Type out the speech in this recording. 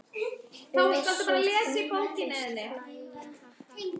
Össur þóttist hlæja:- Ha ha.